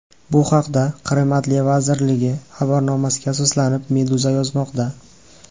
Bu haqda, Qrim adliya vazirligi xabarnomasiga asoslanib, Meduza yozmoqda .